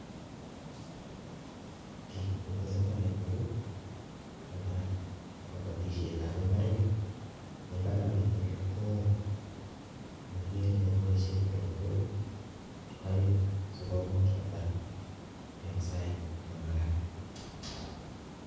Ki netesetai en Yu ko netai kokabatishet ab imbaret imbaraniton ko oo niekeree kakibashien terektoo aeng sikere sikumuch kotar en Saito nemakat